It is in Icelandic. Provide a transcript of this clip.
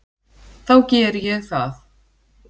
Þá geri ég það.